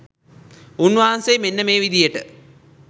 උන්වහන්සේ මෙන්න මේ විදිහට